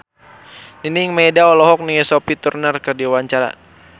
Nining Meida olohok ningali Sophie Turner keur diwawancara